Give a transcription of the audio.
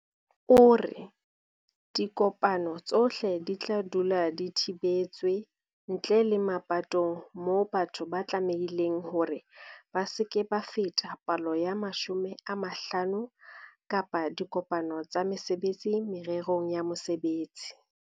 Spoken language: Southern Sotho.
O re, "Dikopano tsohle di tla dula di thibetswe, ntle le mapatong moo batho ba tlamehileng hore ba se ke ba feta palo ya 50 kapa dikopano tsa mesebetsi mererong ya mosebetsi."